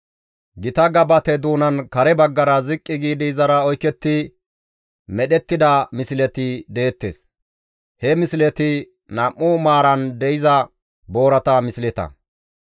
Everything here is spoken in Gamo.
Gita gabate doonan kare baggara ziqqi giidi izara oyketti medhettida misleti deettes; he misleti nam7u maaran de7iza boorata misleta.